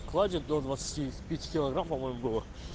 клади до двадцати пяти килограмм по-моему было